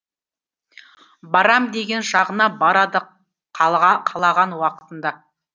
барам деген жағына барады қалаған уақытында